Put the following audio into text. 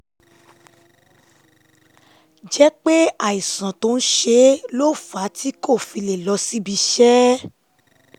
jẹ́ pé àìsàn tó ń ṣe é ló fà á tí kò fi lè lọ síbi iṣẹ́